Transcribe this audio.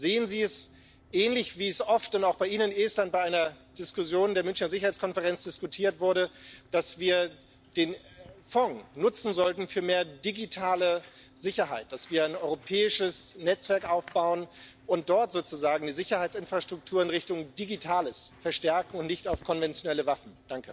Sehen Sie es ähnlich, wie es oft und auch bei Ihnen in Estland bei einer Diskussion der Münchner Sicherheitskonferenz diskutiert wurde, dass wir den Fonds nutzen sollten für mehr digitale Sicherheit, dass wir ein europäisches Netzwerk aufbauen und dort sozusagen die Sicherheitsinfrastruktur in Richtung Digitales verstärken, und nicht auf konventionelle Waffen?